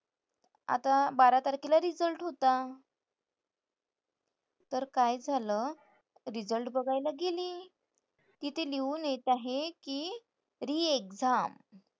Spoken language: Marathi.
आता बारा तारखेला result होता. तर काय झालं? result बघायला गेले. की ते लिहून येत आहे की re-exam.